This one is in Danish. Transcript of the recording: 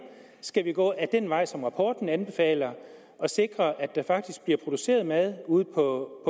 skal vi gå ad den vej som rapporten anbefaler og sikre at der faktisk bliver produceret mad ude på